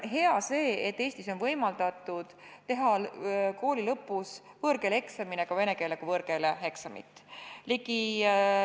Hea on see, et Eestis on võimaldatud teha kooli lõpus võõrkeeleeksamina ka vene keele kui võõrkeele eksamit.